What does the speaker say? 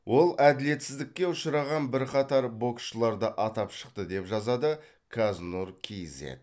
ол әділетсіздікке ұшыраған бірқатар боксшыларды атап шықты деп жазады қазнұр кейзэт